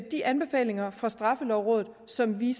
de anbefalinger fra straffelovrådet som vi